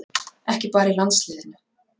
Ekki bara í landsliðinu